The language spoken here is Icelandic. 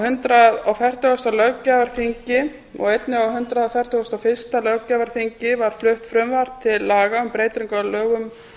hundrað og fertugasta löggjafarþingi og einnig á hundrað fertugasta og fyrsta löggjafarþingi var flutt frumvarp til laga um breytingu á lögum